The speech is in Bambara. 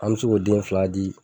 An mi s'o ko den fila di